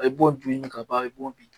A ye bo dun ka ban a bɛ bo bin